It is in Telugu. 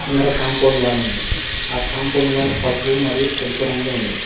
ముందర కాంపౌండ్ వాల్ అ కాంపౌండ్ వాల్ పసుపు మరియు తెలుపు రంగులో ఉంది.